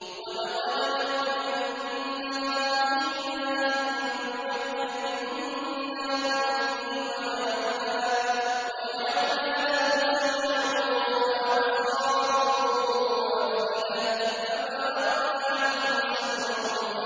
وَلَقَدْ مَكَّنَّاهُمْ فِيمَا إِن مَّكَّنَّاكُمْ فِيهِ وَجَعَلْنَا لَهُمْ سَمْعًا وَأَبْصَارًا وَأَفْئِدَةً فَمَا أَغْنَىٰ عَنْهُمْ سَمْعُهُمْ